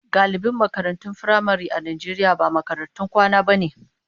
Galibin makarantun firamare a Najeriya ba makarantun kwana bane.